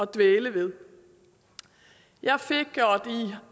dvæle ved i